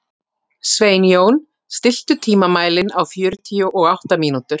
Sveinjón, stilltu tímamælinn á fjörutíu og átta mínútur.